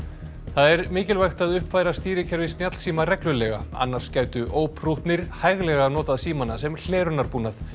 það er mikilvægt að uppfæra stýrikerfi snjallsíma reglulega annars gætu óprúttnir hæglega notað símana sem hlerunarbúnað